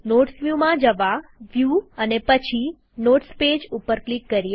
notes વ્યુમાં જવાવ્યુ અને પછી નોટ્સ પેજ ઉપર ક્લિક કરીએ